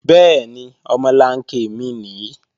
Bẹ́ẹ̀ni, omolanke mi nìí